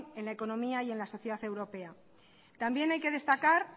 en la economía y en la sociedad europea también hay que destacar